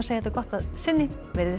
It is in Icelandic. þetta gott að sinni veriði sæl